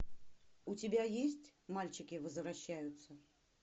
у тебя есть мальчики возвращаются